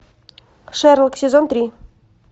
шерлок сезон три